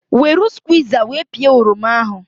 Weru squiza wee pịa oroma ahụ